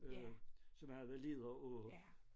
Øh som havde været ledere på